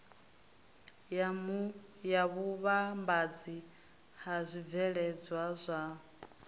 ya vhuvhambadzi ha zwibveledzwa zwavho